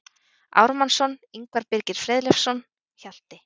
Ármannsson, Ingvar Birgir Friðleifsson, Hjalti